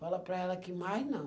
Fala para ela que mais não.